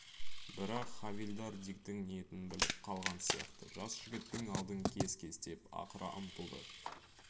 бірақ хавильдар диктің ниетін біліп қалған сияқты жас жігіттің алдын кес-кестеп ақыра ұмтылды